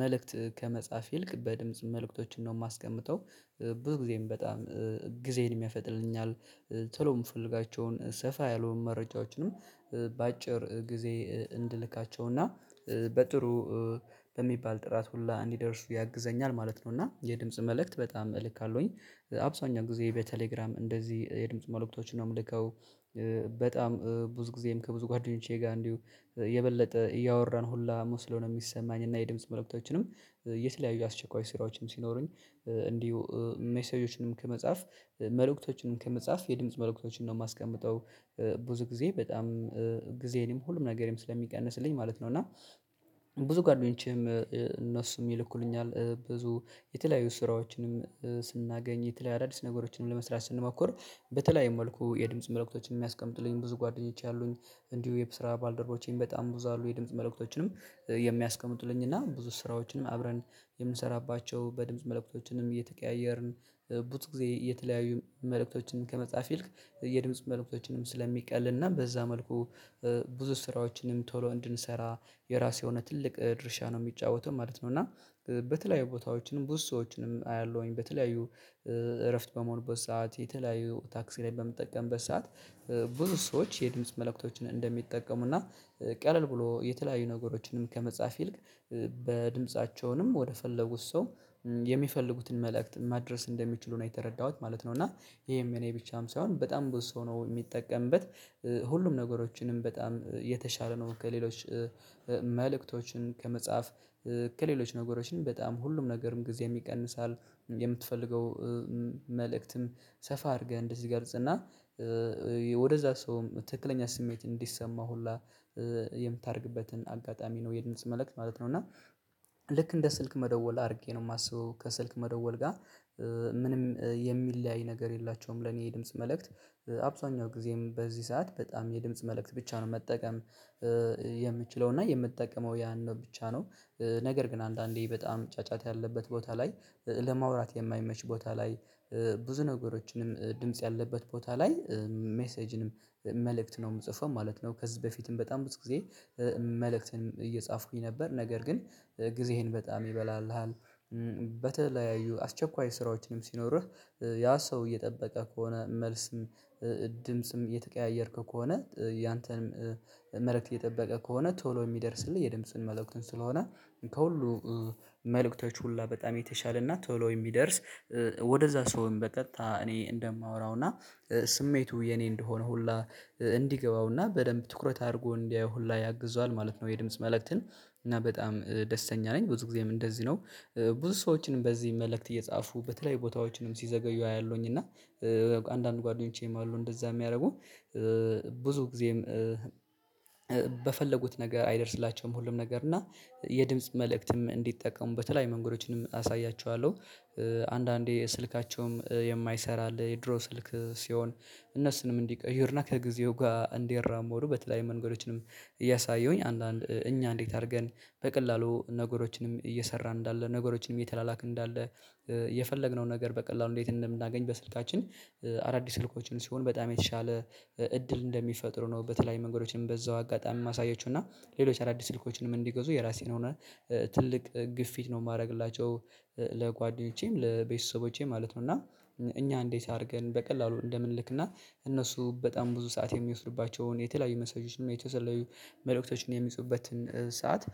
መልእክት ከመጻፍ ይልቅ በድምጽ መልእክቶችን ነው የማስቀምጠው። ብዙ ጊዜም በጣም ጊዜን ያፈጥንልኛል ቶሎ የምፈልጋቸውን ሰፋ ያልሆን መረጃዎችንም በአጭር ጊዜ እንድልካቸው እና በጥሩ በሚባል ጥራት ሁላ እንዲደርሱ ያግዘኛል ማለት ነው። እና የድምጽ መልእክት በጣም እልካለሁኝ አብዛህኛው ጊዜ በቴሌግራም እንደዚህ የድምጽ መልእክቶችን ነው የምልከው። በጣም ብዙ ጊዜም ከብዙ ጓደኞቼ ጋር እንዲሁ የበለጠ እያወራን ሁላ መስሎ ነው የሚሰማኝ። እና የድምጽ መልእክቶችንም የተለያዩ አስቸኳይ ስራዎችንም ሲኖሩኝ እንዲሁ ሜሴጆችንም ከመጻፍ መልእክቶችንም ከመጻፍ የድምጽ መልእክቶችን ነው የማስቀምጠው ብዙ ጊዜ በጣም ጊዜ እኔም ሁሉም ነገርም ስለሚቀንስልኝ ማለት ነው። እና ብዙ ጓደኞቼ እነሱም ይልኩልኛል ብዙ የተለያዩ ስራዎችንም ስናገኝ የተለያየ አዳዲስ ነገሮችን ለመስራት ስንሞክር በተለየም መልኩ የድምጽ መልእክቶችን የሚያስቀጡልኝ ብዙ ጓደኞች አሉኝ። እንዲሁ የስራ ባልደረቦቼም በጣም ብዙ አሉ የድምጽ መልእክቶችንም የሚያስቀምጡልኝና ብዙ ስራዎችንም አብረን የምንሰራባቸው በድምጽ መልእክቶችንም እየተቀያየርን ብዙ ጊዜ የተለያዩ መልእክቶችን ከመጻፍ ይልቅ የድምጽ መልእክቶችንም ስለሚቀልና በዛ መልኩ ብዙ ስራዎችንም ቶሎ እንድንሰራ የራሱ የሆነ ትልቅ ድርሻ ነው የሚጫወተው ማለት ነው። እና በተለያዩ ቦታዎችንም ብዙ ሰዎችንም አያለሁኝ በተለያዩ እረፍት በመሆን በሰአት የተለያዩ ታክሲ ላይ በምትጠቀምበት ሰዓት ብዙ ሰዎች የድምጽ መልእክቶችን እንደሚጠቀሙና ቀለል ብሎ የተለያዩ ነገሮችንም ከመጻፍ ይልቅ በድምጻቸውም ወደፈለጉት ሰው የሚፈልጉትን መልእክት ማድረስ እንደሚችሉ ነው የተረዳሁት ማለት ነው። እና ይሄም የኔ ብቻም ሳይሆን በጣም ብዙ ሰው ነው የሚጠቀምበት። ሁሉም ነገሮችንም በጣም የተሻለ ነው ከሌሎች መልእክቶችን ከመጻፍ ከሌሎች ነገሮችን በጣም ሁሉም ነገርም ጊዜም ይቀንሳል የምትፈልገው መልእክትም ሰፋ አድርገህ እንደዚህ ትገልጽና ወደዛ ሰውም ትክክለኛ ስሜት እንዲሰማው ሁላ የምታደርግበትን አጋጣሚ ነው የድምጽ መልእክት ማለት ነው። እና ልክ እንደ ስልክ መደወል አድርጌ ነው የማስበው ከስልክ መደወል ጋር ምንም የሚለያይ ነገር የላቸውም። ለኔ የድምጽ መልእክት አብዛኛው ጊዜም በዚህ ሰዓት በጣም የድምጽ መልእክት ብቻ ነው መጠቀም። የምችለው እና የምትጠቀመው ያን ነው ብቻ ነው ነገር ግን አንዳንዴ በጣም ጫጫት ያለበት ቦታ ላይ ለማውራት የማይመች ቦታ ላይ ብዙ ነገሮችንም ድምጽ ያለበት ቦታ ላይ ሜሴጅንም መልእክት ነው የምጽፈው ማለት ነው። ከዚህ በፊትም በጣም ብዙ ጊዜ መልእክትን እየጻፍኩኝ ነበር ነገር ግን ጊዜህን በጣም ይበላልሃል። በተለያዩ አስቸኳይ ስራዎችንም ሲኖርህ ያ ሰው እየጠበቀ ከሆነ መልስም ድምጽም እየተቀያየርክ ከሆነ ያንተንም መልእክት እየጠበቀ ከሆነ ቶሎ የሚደርስልህ የድምጽን መልእክትን ስለሆነ ከሁሉ መልእክቶች ሁላ በጣም የተሻለ እናት ቶሎ የሚደርስ ወደዛ ሰውም በቀጥታ እኔ እንደማወራው እና ስሜቱ የኔ እንደሆነ ሁላ እንዲገባው በደንብ ትኩረት አድርጎ እንዲያየው ሁላ ያግዘዋል ማለት ነው። የድምጽ መልእክትን እና በጣም ደስተኛ ነኝ ብዙ ጊዜም እንደዚህ ነው። ብዙ ሰዎችንም በዚህ መልእክት እየጻፉ በተለይ ቦታዎችንም ሲዘገዩ አያለሁኝ እና አንዳንድ ጓደኞቼም አሉ እንደዛ የሚያደርጉ ብዙ ጊዜም በፈለጉት ነገር አይደርስላቸውም ሁሉም ነገር እና የድምጽ መልእክትም እንዲጠቀሙ በተለየያ መንገዶችንም አሳያችኋለሁ። አንዳንዴ ስልካቸውም የማይሰራ አለ የድሮ ስልክ ሲሆን እነሱንም እንዲቀይሩና ከጊዜው ጋር እንዲራመዱ ወደ በተለያየ መንገዶችንም እያሳየሁኝ አንዳንድ እኛ እንዴት አድርገን በቀላሉ ነገሮችንም እየሰራን እንዳለ ነገሮችንም እየተላላክን እንዳለ የፈለግነው ነገር በቀላሉ እንዴት እንደምናገኝ በስልካችን አዳዲስ ስልኮችን ሲሆን በጣም የተሻለ እድል እንደሚፈጥሩ ነው። በተለያየ መንገዶችንም በዛው አጋጣሚ የማሳየችው እና ሌሎች አዳዲስ ስልኮችን እንዲገዙ የራሴን ሆነ ትልቅ ግፊት ነው የማደርግላቸው ለጓደኞቼም ለቤተሰቦቼም ማለት ነው። እና እኛ እንዴት አድርገን በቀላሉ እንደምንልክና እነሱ በጣም ብዙ ሰዓት የሚወስድባቸውን የተለያዩ ሚሴጆችን የተለያዩ መልእክቶችን የሚጽፉበትን ሰዓት